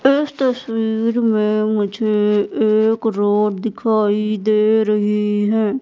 इस तस्वीर में मुझे एक रोड दिखाई दे रही हैं।